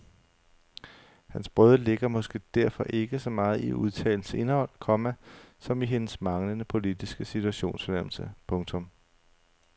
Hans brøde ligger måske derfor ikke så meget i udtalelsens indhold, komma som i hendes manglende politiske situationsfornemmelse. punktum